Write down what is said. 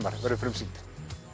verður frumsýnd